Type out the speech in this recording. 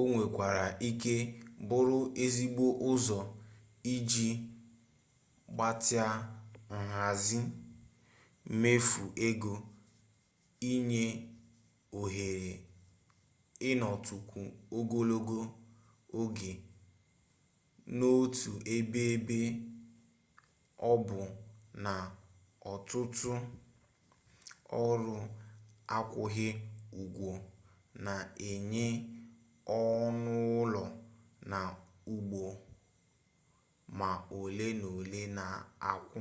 o nwekwara ike bụrụ ezigbo ụzọ iji gbatịa nhazi mmefu ego inye ohere ịnọtukwu ogologo oge n'otu ebe ebe ọ bụ na ọtụtuụ ọrụ akwụghị ụgwọ na-enye ọnụụlọ na ụgbọ ma ole na ole na-akwụ